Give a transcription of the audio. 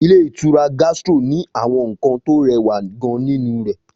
Ilé ìtura Gastro ni àwọn nkan tó rẹwa gan ninu re